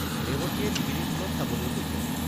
ৰেৱতীয়ে লিগিৰীটোলত চাবলৈ গৈছে।